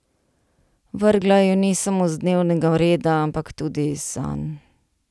Vrgla ju ni samo z dnevnega reda, ampak tudi iz sanj.